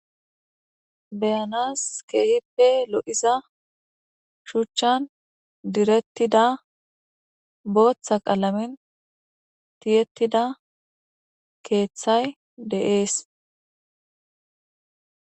Beyanas keehippe lo7iza shuchchan direttida booththa qaalamin tiyettida keeththay deees.